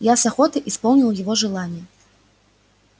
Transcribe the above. я с охотой исполнил его желание